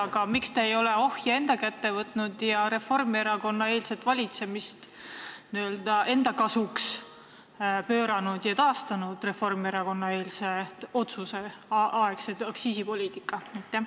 Aga miks te ei ole ohje enda kätte võtnud ja taastanud Reformierakonna otsuse eelse aja aktsiisipoliitikat?